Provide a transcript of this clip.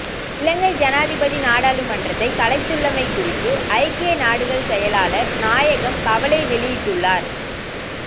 இலங்கை சனாதிபதி நாடாளுமன்றத்தை கலைத்துள்ளமை குறித்து ஐக்கிய நாடுகள் செயலாளர் நாயகம் கவலை வெளியிட்டுள்ளார்